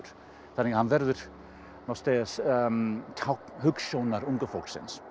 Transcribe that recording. þannig að hann verði tákn hugsjónar unga fólksins